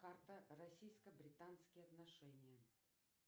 карта российско британские отношения